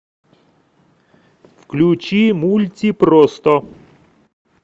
включи мультипросто